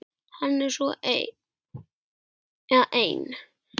Hann er svo ein